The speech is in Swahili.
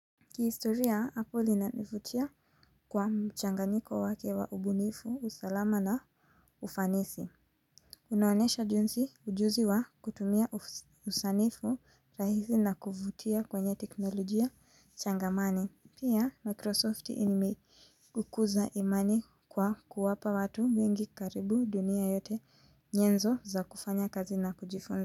Kihistoria, Apple inanivutia kwa mchanganyiko wake wa ubunifu, usalama na ufanisi. Unaonesha jinsi ujuzi wa kutumia usanifu rahisi na kuvutia kwenye teknolojia changamane. Pia, Microsoft imekuza imani kwa kuwapa watu mwengi karibu dunia yote nyenzo za kufanya kazi na kujifunza.